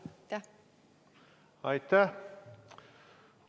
Aitäh!